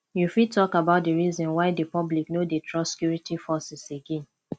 you fit talk about di reasons why di public no dey trust security forces again